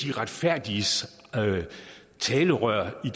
de retfærdiges talerør i